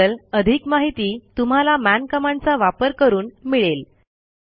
याबद्दल अधिक माहिती तुम्हाला मन कमांडचा वापर करून मिळेल